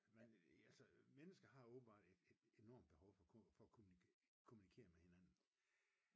Altså mennesker har åbenbart et enormt behov for at kommunikere med hinanden